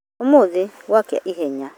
Ũmuthĩ gwa kĩa ihenya